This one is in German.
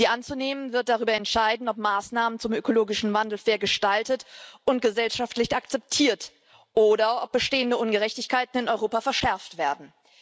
Sie anzunehmen wird darüber entscheiden, ob Maßnahmen zum ökologischen Wandel fair gestaltet und gesellschaftlich akzeptiert oder ob bestehende Ungerechtigkeiten in Europa verschärft werden.